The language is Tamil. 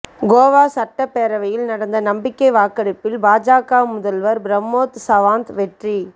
கோவா சட்டப்பேரவையில் நடந்த நம்பிக்கை வாக்கெடுப்பில் பாஜக முதல்வர் பிரமோத் சவாந்த் வெற்றி